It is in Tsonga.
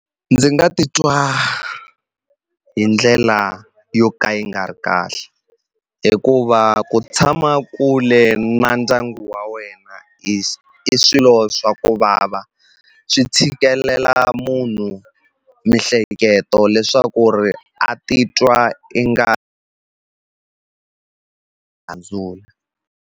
Ndzi nga titwa hi ndlela yo ka yi nga ri kahle hikuva ku tshama kule na ndyangu wa wena i swilo swa ku vava swi tshikelela munhu miehleketo leswaku ri a titwa i nga .